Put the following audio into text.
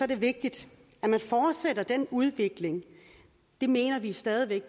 det vigtigt at man fortsætter den udvikling det mener vi stadig væk